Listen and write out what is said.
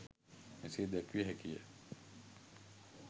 මෙසේ දැක්විය හැකිය.